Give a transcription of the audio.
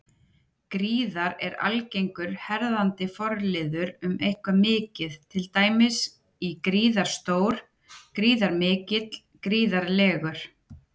Gríðar- er algengur herðandi forliður um eitthvað mikið, til dæmis í gríðarstór, gríðarmikill, gríðarlegur.